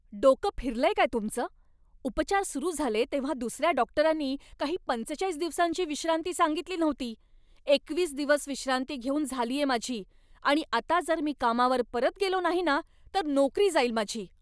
डोकं फिरलंय काय तुमचं? उपचार सुरू झाले तेव्हा दुसऱ्या डॉक्टरांनी काही पंचेचाळीस दिवसांची विश्रांती सांगितली नव्हती. एकवीस दिवस विश्रांती घेऊन झालीये माझी आणि आता जर मी कामावर परत गेलो नाही ना तर नोकरी जाईल माझी.